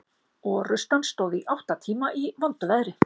Orrustan stóð í átta tíma í vondu veðri.